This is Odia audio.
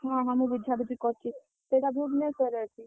ହଁ, ହଁ, ମୁଁ ବୁଝାବୁଝି କରୁଛି। ସେଇଟା ଭୁବନେଶ୍ୱରରେ ଅଛି।